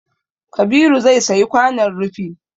Kabiru zai sayi kwanon rufi